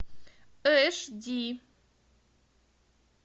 эш ди